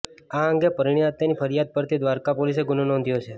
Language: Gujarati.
આ અંગે પરીણીતાની ફરીયાદ પરથી દ્વારકા પોલીસે ગુનો નોંધ્યો છે